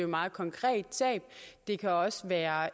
meget konkret sag det kan også være